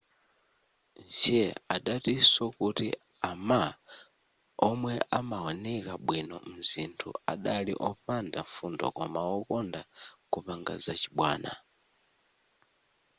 hsieh adatinso kuti a ma omwe amaoneka bwino mzithunzi adali opanda mfundo koma wokonda kupanga zachibwana